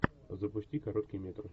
запусти короткий метр